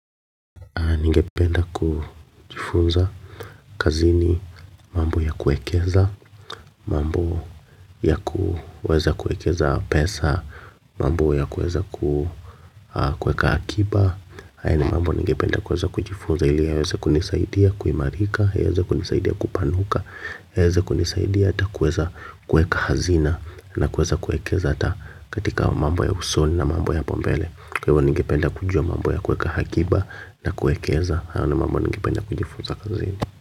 Ningependa kujifunza kazini mambo ya kuekeza, mambo ya kuweza kuekeza pesa, mambo ya kueza kuweka akiba. Haya ni mambo ningependa kuweza kujifunza ili yaweze kunisaidia kuimarika, yaweze kunisaidia kupanuka, yaweze kunisaidia hata kuweza kuweka hazina na kuweza kuekeza hata katika mambo ya usoni na mambo ya hapo mbele. Kwa hivyo ningependa kujua mambo ya kuweka akiba na kuekeza hayo ni mambo ningependa kujifunza kazini.